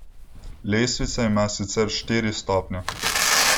Lestvica ima sicer štiri stopnje.